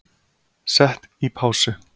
Sett í pásu